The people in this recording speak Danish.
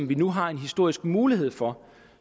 vi nu har en historisk mulighed for